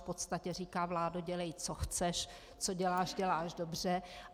V podstatě říká: Vládo, dělej, co chceš, co děláš, děláš dobře.